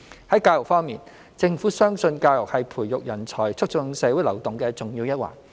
在教育方面，政府相信教育是培育人才、促進社會流動的重要一環。